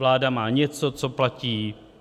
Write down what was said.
Vláda má něco, co platí.